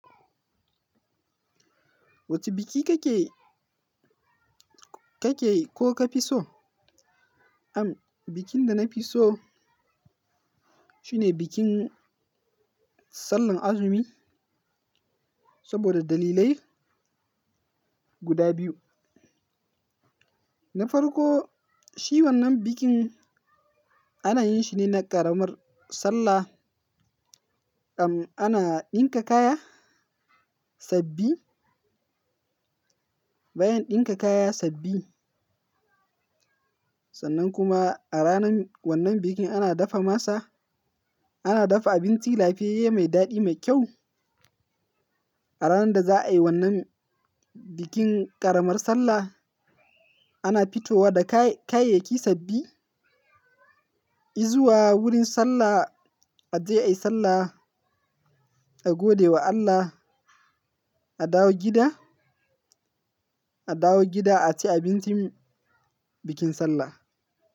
Wacce biki kake, kake ko ka fi so? Am, bikin da na fi so shine bikin Sallar Azumi saboda dalilai guda biyu. Na farko, shi wannan bikin ana yin shi ne na ƙaramar Sallah. Ana ɗinka kaya sabbi, bayan ɗinka kaya sabbi. Sannan kuma a ranar wannan bikin ana dafa masa, ana dafa abinci lafiyayye mai daɗi, mai kyau. A ranar da za a yi wannan bikin ƙaramar Sallah, ana fitowa da kayayyaki sabbi, izuwa wurin Sallah, aje a yi Sallah, a gode wa Allah, a dawo gida, a dawo gida a ci abincin bikin Sallah.